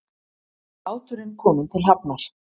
Báturinn kominn til hafnar